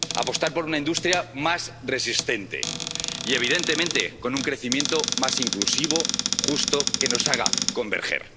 apostar por una industria más resistente y, evidentemente, con un crecimiento más inclusivo, justo, que nos haga converger.